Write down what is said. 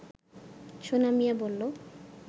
সোনা মিয়া বলল